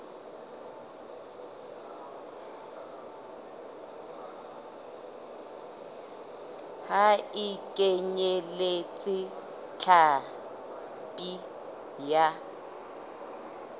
ha e kenyeletse hlapi ya